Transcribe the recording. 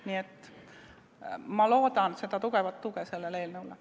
Nii et ma loodan tugevat tuge sellele eelnõule.